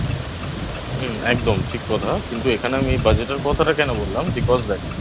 হুম. একদম. ঠিক কথা. কিন্তু এখানে আমি Budget এর কথাটা কেন বললাম Because দেখ